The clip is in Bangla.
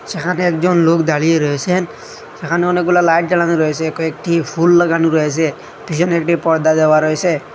এখানে একজন লোক দাঁড়িয়ে রয়েছেন সেখানে অনেকগুলা লাইট জ্বালানো রয়েছে কয়েকটি ফুল লাগানো রয়েছে পিছনে একটি পর্দা দেওয়া রয়সে।